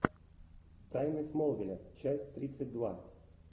тайны смолвиля часть тридцать два